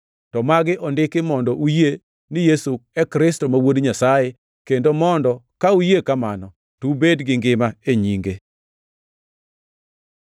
To magi ondiki mondo uyie ni Yesu e Kristo ma Wuod Nyasaye, kendo mondo ka uyie kamano, to ubed gi ngima e nyinge.